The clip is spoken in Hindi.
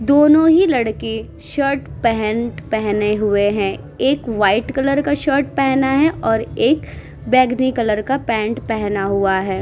दोनों ही लड़के शर्ट पैंट पहने हुए हैं। एक वाइट कलर का शर्ट पहना है और एक बैंगनी कलर का पैंट पहना हुआ है।